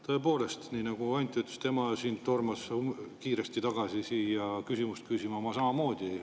Tõepoolest, nii nagu Anti ütles, et tema tormas kiiresti tagasi siia küsimust küsima, ma samamoodi.